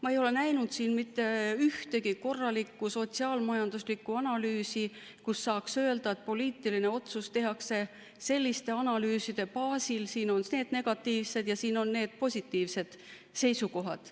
Ma ei ole näinud mitte ühtegi korralikku sotsiaal-majanduslikku analüüsi, et saaks öelda, et poliitiline otsus tehakse selliste analüüside baasil, siin on need negatiivsed ja siin on need positiivsed seisukohad.